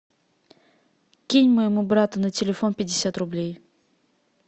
кинь моему брату на телефон пятьдесят рублей